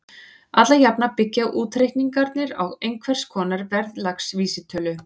Alla jafna byggja útreikningarnir á einhvers konar verðlagsvísitölu.